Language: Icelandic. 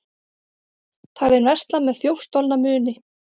Talinn versla með þjófstolna muni